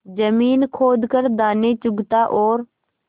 जमीन खोद कर दाने चुगता और